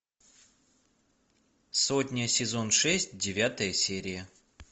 сотня сезон шесть девятая серия